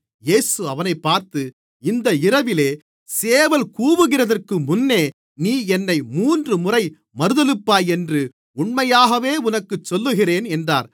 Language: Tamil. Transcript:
இயேசு அவனைப் பார்த்து இந்த இரவிலே சேவல் கூவுகிறதற்கு முன்னே நீ என்னை மூன்றுமுறை மறுதலிப்பாய் என்று உண்மையாகவே உனக்குச் சொல்லுகிறேன் என்றார்